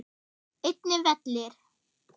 Einnig vellir.